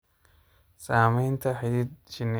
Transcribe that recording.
Samaynta xidid shinni.